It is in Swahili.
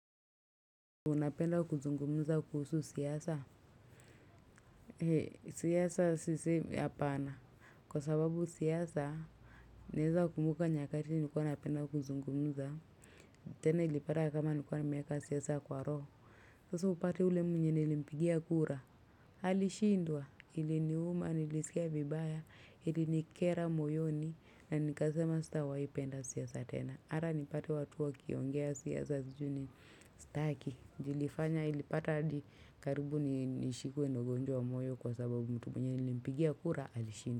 Unapenda kuzungumuza kuhusu siasa. Siyasa sisi apana. Kwa sababu siyasa, naeza kumbuka nyakati nilikuwa napenda kuzungumuza. Tena ilipata kama nilikuwa nimeeka siyasa kwa roo. Sasa upate ule mwenye nilimpigia kura. Halishindwa. Hili ni uma nilisikia vibaya. Hili nikera moyoni. Na nikasema sitawaipenda siyasa tena. Hara nipate watu wakiongea siyasa sijui nini. Staki juu ilifanya ilipata adi karibu nishikwe na ugonjwa wa moyo kwa sababu mtu mwenye nilimpigia kura alishindwa.